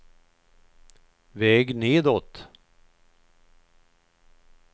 väg nedåt